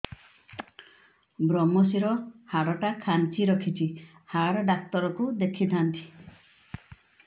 ଵ୍ରମଶିର ହାଡ଼ ଟା ଖାନ୍ଚି ରଖିଛି ହାଡ଼ ଡାକ୍ତର କୁ ଦେଖିଥାନ୍ତି